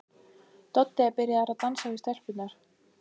Doddi er byrjaður að dansa við stelpurnar.